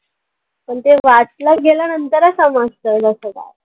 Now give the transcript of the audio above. पण ते वाचलं गेल्यानंतरच समजतं जसं काय.